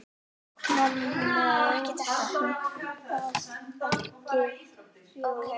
Og Mammon virðist ekki fjarri.